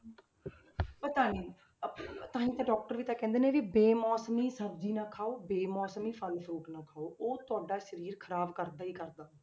ਪਤਾ ਨੀ ਅਹ ਤਾਂ ਹੀ ਤਾਂ doctor ਵੀ ਤਾਂ ਕਹਿੰਦੇ ਨੇ ਵੀ ਬੇ-ਮੌਸਮੀ ਸਬਜ਼ੀ ਨਾ ਖਾਓ, ਬੇ-ਮੌਸਮੀ ਫਲ fruit ਨਾ ਖਾਓ, ਉਹ ਤੁਹਾਡਾ ਸਰੀਰ ਖ਼ਰਾਬ ਕਰਦਾ ਹੀ ਕਰਦਾ।